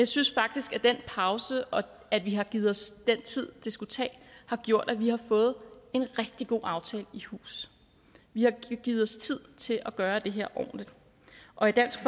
synes faktisk at den pause og det at vi har givet os den tid det skulle tage har gjort at vi har fået en rigtig god aftale i hus vi har givet os tid til at gøre det her ordentligt og i dansk